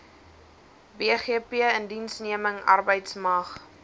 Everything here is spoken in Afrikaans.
bgp indiensneming arbeidsmag